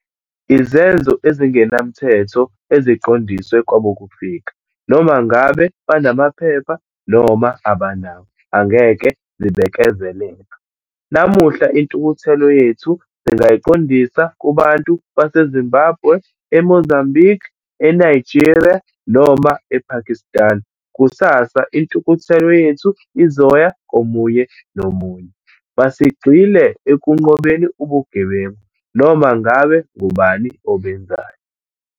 Izenzo ezingenamthetho eziqondiswe kwabokufika, noma ngabe banamaphepha noma abanawo, angeke zibekezelelwe. Namuhla, intukuthelo yethu singayiqondisa kubantu base-Zimbabwe, e-Mozambique, e-Nigeria noma e-Pakistan. Kusasa, intukuthelo yethu izoya komunye nomunye. Masigxile ekunqobeni ubugebengu, noma ngabe ngubani obenzayo.